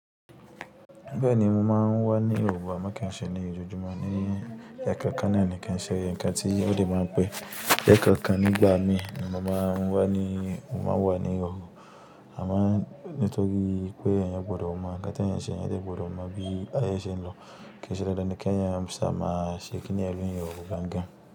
Bẹẹni mo máa ń wà ní oru, a máa kí ń ṣe ní ojoojúmọ́ ní ẹkọ ọkàn náà ni, kí ṣe nǹkan tí ó dẹ máa n pẹ́. Ẹka kan nígbà mí, ni mo máa ń wà ní òru, àmọ́ nítorí pé èèyàn gbọ́dọ̀ mọ ǹkan tí èèyàn n ṣe, èèyàn dẹ gbọ́dọ̀ mọ bí aiyé ṣe ń lọ kí ṣe dandan ki èèyàn ṣà má ṣe kíni yẹn ni òru gangan.